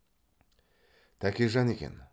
тәкежан екен